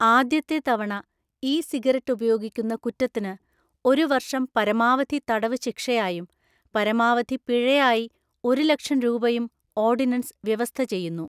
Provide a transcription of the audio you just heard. ആദ്യത്തെതവണ ഇ സിഗരറ്റ് ഉപയോഗിക്കുന്നകുറ്റത്തിന് ഒരുവര്ഷം പരമാവധി തടവ്ശിക്ഷയായും, പരമാവധി പിഴയായി ഒരുലക്ഷംരൂപയും ഓര്ഡിനന്സ് വ്യവസ്ഥചെയ്യുന്നു.